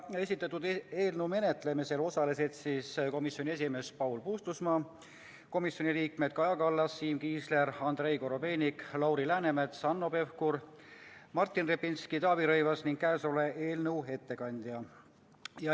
Esitatud eelnõu menetlemisel osalesid komisjoni esimees Paul Puustusmaa, komisjoni liikmed Kaja Kallas, Siim Kiisler, Andrei Korobeinik, Lauri Läänemets, Hanno Pevkur, Martin Repinski, Taavi Rõivas ning käesoleva eelnõu ettekandja.